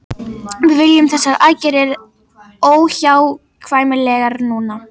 Við teljum þessar aðgerðir óhjákvæmilegar núna